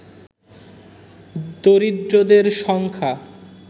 দরিদ্রদের সংখ্যা